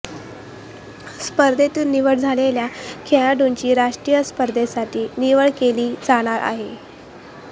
स्पर्धेतून निवड झालेल्या खेळाडूंची राष्ट्रीय स्पर्धेसाठी निवड केली जाणार आहे